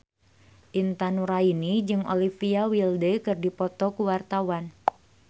Intan Nuraini jeung Olivia Wilde keur dipoto ku wartawan